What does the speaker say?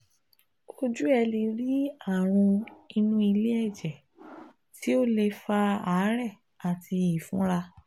Ojú ẹ̀ lè rí àrùn inú ilé-ẹ̀jẹ̣ tó lè fa àárẹ̀ àti ìfunra